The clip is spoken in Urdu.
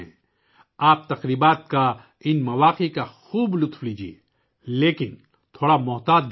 آپ ان تہواروں سے بہت لطف اندوز ہوتے ہیں لیکن تھوڑا محتاط رہیں